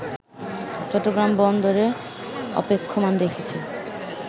চট্টগ্রাম বন্দরে অপেক্ষমান রেখেছে